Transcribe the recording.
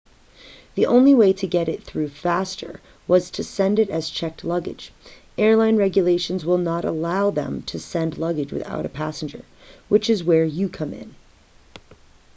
the only way to get it through faster was to send it as checked luggage airline regulations will not allow them to send luggage without a passenger which is where you come in